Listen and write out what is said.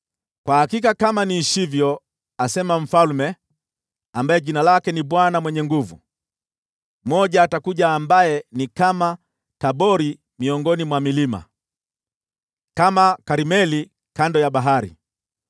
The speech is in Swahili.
“Kwa hakika kama niishivyo,” asema Mfalme, ambaye jina lake ni Bwana Mwenye Nguvu Zote, “mmoja atakuja ambaye ni kama Tabori miongoni mwa milima, kama Karmeli kando ya bahari.